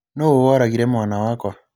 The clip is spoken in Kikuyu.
Nũũ woragire mwana wakwa?